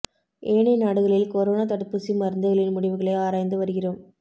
ஏனைய நாடுகளில் கொரோனா தடுப்பூசி மருந்துகளின் முடிவுகளை ஆராய்ந்து வருகிறோம்